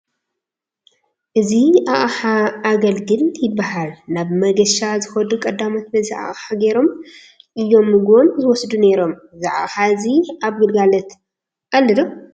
እዚ ኣቕሓ ኣገልግል ይበሃል፡፡ ናብ መገሻ ዝኸዱ ቀዳሞት በዚ ኣቕሓ ገይሮም እዮም ምግቦም ዝወስዱ ነይሮም፡፡ እዚ ኣቕሓ ሕዚ ኣብ ግልጋሎት ኣሎ ዶ?